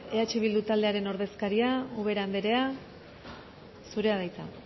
eh bildu taldearen ordezkaria ubera andrea zurea da hitza